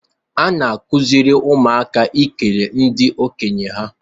A na-akụziri ụmụaka ikele ndị okenye ha